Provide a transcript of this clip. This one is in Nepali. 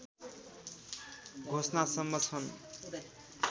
घोषणासम्म छन्